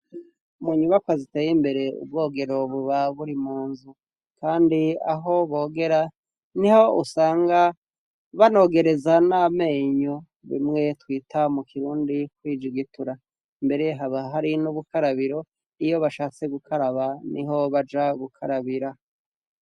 mu nyubakwa ziteye imbere ubwogero buba buri munzu kandi aho bogera niho usanga banogereza n'amenyo bimwe twita mu kirundi kwijugitura mbere haba hari n'ubukarabiro iyo bashatse gukaraba niho baja gukarabira